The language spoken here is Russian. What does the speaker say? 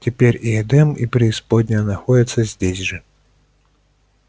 теперь и эдем и преисподняя находятся здесь же